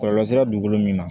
Kɔlɔlɔ sera dugukolo min ma